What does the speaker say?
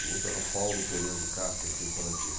O outro era o Paulo Pereira de Castro, professor do Estadão Antigo.